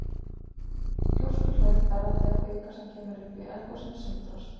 Gjóskuhlaup verða þegar kvika sem kemur upp í eldgosum sundrast.